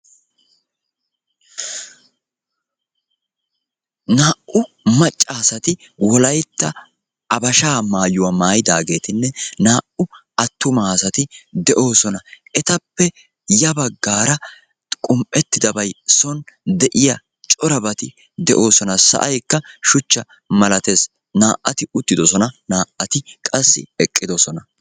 Naa'u macca asati wolaytta habashaa maayuwa maayidaageetinne naa'u attuma asati de'oosona. Etappe ya baggaara qumm"ettidabayi son de'iya corabati de'oosona. Sa'aykka shuchcha malaates. Naa'ati uttidosona naa'ati qassi eqqidosona.